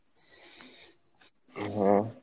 হ্যাঁ।